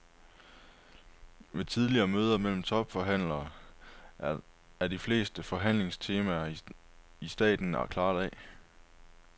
Ved tidligere møder mellem topforhandlerne er de fleste forhandlingstemaer i staten klaret af.